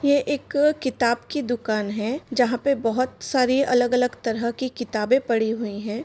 ये एक किताब की दुकान है जहाँ पे बहुत सारी अलग-अलग तरह की किताबें पड़ी हुई हैं।